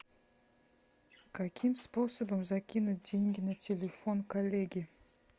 каким способом закинуть деньги на телефон коллеги